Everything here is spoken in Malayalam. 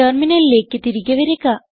ടെർമിനലിലേക്ക് തിരികെ വരിക